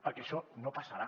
perquè això no passarà